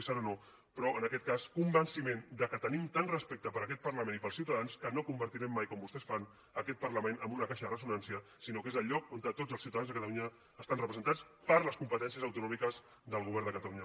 i serenor però en aquest cas convenciment que tenim tant respecte per a aquest parlament i per als ciutadans que no convertirem mai com vostès ho fan aquest parlament en una caixa de ressonància sinó que és el lloc on tots els ciutadans de catalunya estan representats per les competències autonòmiques del govern de catalunya